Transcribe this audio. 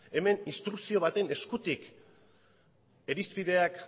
hemen instrukzio baten eskutik irizpideak